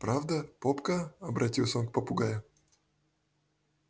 правда попка обратился он к попугаю